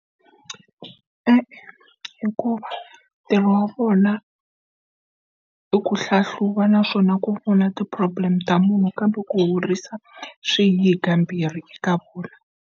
E-e hikuva ntirho wa vona i ku hlahluva naswona ku u na ti-problem ta munhu kambe ku horisa swi hi hi kambirhi eka vona.